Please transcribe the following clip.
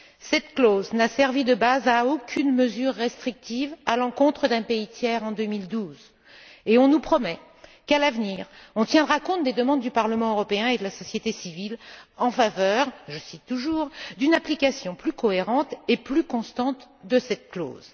Cette clause n'a servi de base à aucune mesure restrictive à l'encontre d'un pays tiers en 2012 et on nous promet qu'à l'avenir, on tiendra compte des demandes du Parlement européen et de la société civile en faveur je cite d'une application plus cohérente et plus constante de cette clause.